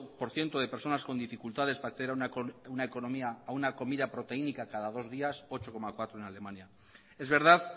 por ciento de personas con dificultades para hacer una comida proteínica cada dos días ocho coma cuatro en alemania es verdad